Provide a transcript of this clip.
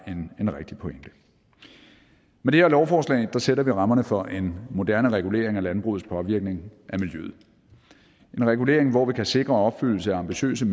en rigtig pointe med det her lovforslag sætter vi rammerne for en moderne regulering af landbrugets påvirkning af miljøet en regulering hvor vi kan sikre opfyldelse af ambitiøse